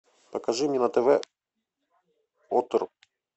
покажи мне на тв отр